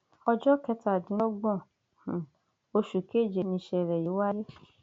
ọjọ kẹtàdínlọgbọn um oṣù keje nìṣẹlẹ yìí wáyé